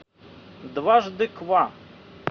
дважды ква